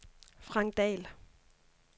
Frank Dahl